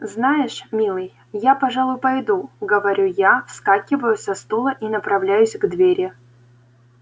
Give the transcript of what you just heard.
знаешь милый я пожалуй пойду говорю я вскакиваю со стула и направляюсь к двери